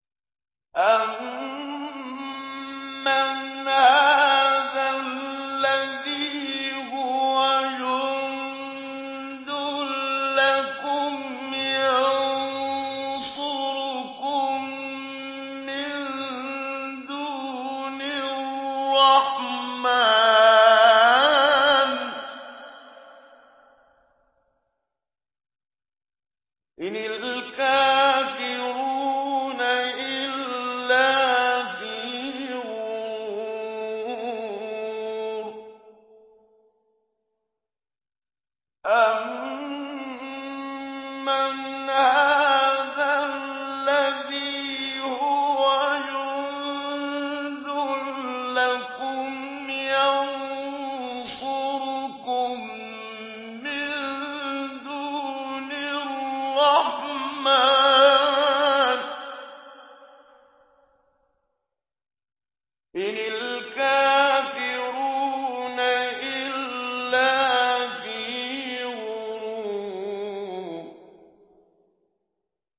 أَمَّنْ هَٰذَا الَّذِي هُوَ جُندٌ لَّكُمْ يَنصُرُكُم مِّن دُونِ الرَّحْمَٰنِ ۚ إِنِ الْكَافِرُونَ إِلَّا فِي غُرُورٍ